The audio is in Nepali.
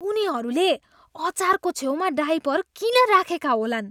उनीहरूले अचारको छेउमा डायपर किन राखेका होलान्?